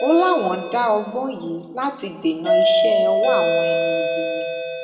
ó láwọn dá ọgbọn yìí láti dènà iṣẹ ọwọ àwọn ẹni ibi ni